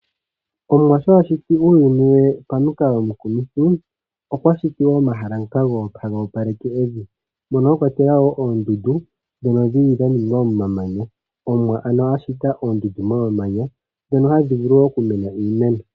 Omuwa sho a shiti uuyuni we pamukalo omukumitha okwa shiti wo omahala ngoka haga opaleke evi, moka mwa kwatelwa wo oondundu ndhoka dha ningwa momamanya. Omuwa a shita oondundu momamanya ndhono hadhi vulu okumena iimeno.